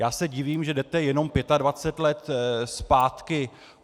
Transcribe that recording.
Já se divím, že jdete jenom 25 let zpátky.